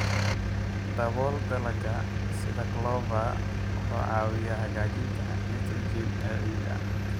Dabool dalagga sida clover wuxuu caawiyaa hagaajinta nitrogen ee ciidda.